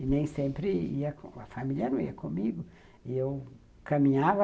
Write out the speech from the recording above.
E nem sempre a família não ia comigo, e eu caminhava